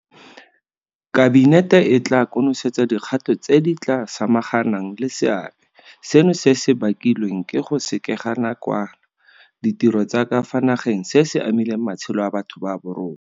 Kabinete e tla konosetsa dikgato tse di tla samaganang le seabe seno se se bakilweng ke go sekega nakwana ditiro tsa ka fa nageng se se amileng matshelo a batho ba borona.